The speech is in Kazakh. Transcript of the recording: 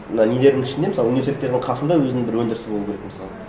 мына нелердің ішінде мысалы университеттердің қасында өзінің бір өндірісі болу керек мысалы